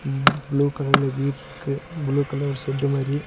ம் ப்ளூ கலர்ல வீடுருக்கு ப்ளூ கலர் ஒரு ஷெட்டு மாரி.